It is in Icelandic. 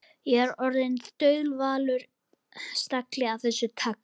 Ég er orðinn þaulvanur stagli af þessu tagi.